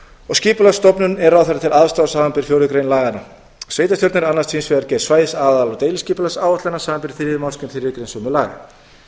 og skipulagsstofnun er ráðherra til aðstoðar samanber fjórðu grein laganna sveitarstjórnir annast hins vegar gerð svæðis aðal og deiliskipulagsáætlana samanber þriðju málsgrein þriðju greinar sömu laga